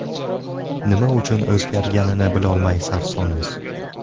Nima uchun o‘zgarganini bilolmay sarsonmiz.